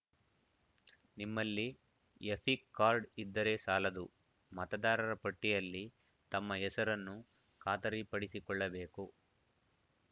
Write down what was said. ನಿಮ್ಮಲ್ಲಿ EPIC card ಇದ್ದರೆ ಸಾಲದು ಮತದಾರರ ಪಟ್ಟಿಯಲ್ಲಿ ತಮ್ಮ ಹೆಸರನ್ನು ಖಾತರಿಪಡಿಸಿಕೊಳ್ಳಬೇಕು